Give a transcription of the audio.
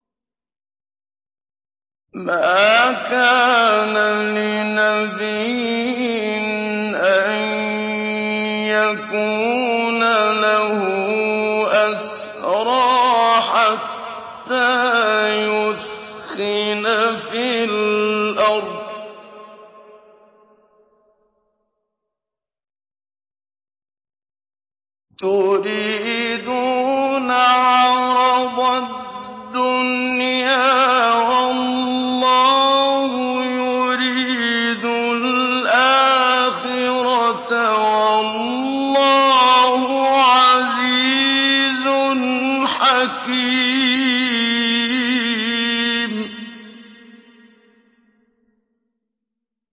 مَا كَانَ لِنَبِيٍّ أَن يَكُونَ لَهُ أَسْرَىٰ حَتَّىٰ يُثْخِنَ فِي الْأَرْضِ ۚ تُرِيدُونَ عَرَضَ الدُّنْيَا وَاللَّهُ يُرِيدُ الْآخِرَةَ ۗ وَاللَّهُ عَزِيزٌ حَكِيمٌ